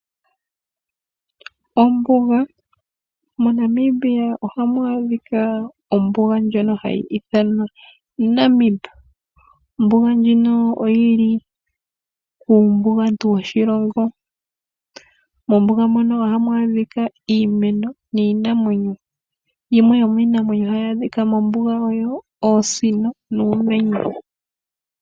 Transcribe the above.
Ombuga MoNamibia ohamu adhika ombuga ndjono hayi ithanwa Namib. Ombuga ndjino oyili kuumbugantu woshilongo. Mombuga mono ohamu adhika iimeno miinanwenyo. Yimwe yomiinamwenyo hayi adhika mombuga oyo oosino nuumenye.